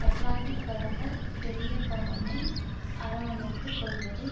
Atlantic கடந்த பெரிபண்ணவை அரவணைத்துக்கொள்வதை